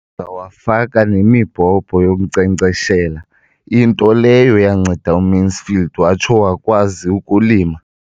Wafaka nemibhobho yokunkcenkceshela, into leyo yanceda uMansfield watsho wakwazi ukulima.